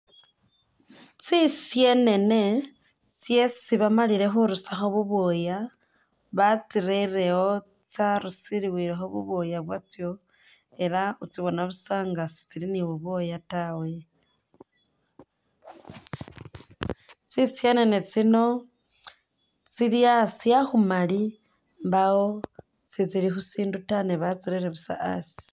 Tsi syenene tsesi bamalile khurusakho bu bwooya batsirere iwo tsarusiliwilekho bu bwooya bwatso ela utsibona busa nga si tsili ni bu bwooya tawe, tsi syenene tsino tsili asi akhumali mbawo si tsili khusindu ta ne batsirere busa asi.